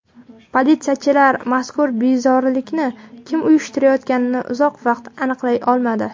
Politsiyachilar mazkur bezorilikni kim uyushtirayotganini uzoq vaqt aniqlay olmadi.